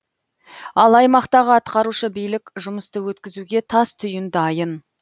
ал аймақтағы атқарушы билік жұмысты өткізуге тас түйін дайын